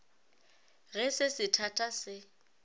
ge se se thata se